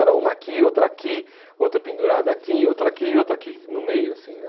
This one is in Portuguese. Era uma aqui, outra aqui, outra pendurada aqui, outra aqui e outra aqui no meio, assim, né?